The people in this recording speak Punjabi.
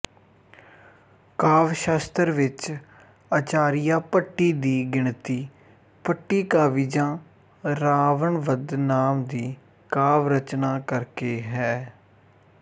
ਕਾਵਿ ਸ਼ਾਸਤਰ ਵਿੱਚ ਆਚਾਰੀਆ ਭੱਟੀ ਦੀ ਗਿਣਤੀ ਭੱਟੀਕਾਵਿਜਾਂ ਰਾਵਣਵਧ ਨਾਮ ਦੀ ਕਾਵਿ ਰਚਨਾ ਕਰਕੇ ਹੈ